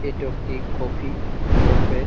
এট একটি coffee shop এ।